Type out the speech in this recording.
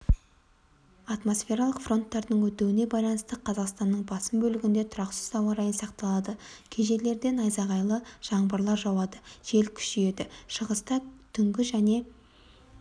атмосфералық фронттардың өтуіне байланысты қазақстанның басым бөлігіндерде тұрақсыз ауа райы сақталады кей жерлерде найзағайлы жаңбырлар жауады жел күшейеді шығыста түнгі және